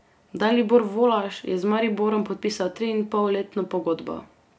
Dalibor Volaš je z Mariborom podpisal triinpolletno pogodbo.